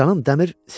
Mənim canım dəmir.